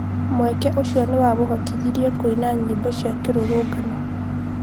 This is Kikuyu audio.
Mweke ũcio nĩ wamũhotithirie kũina nyĩmbo cia kĩrũrũngano